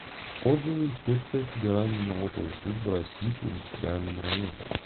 отзывы инспекция федеральной налоговой службы россии по индустриальному району